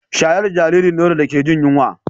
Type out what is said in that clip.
Shayar da jaririn nono da ke jin yunwa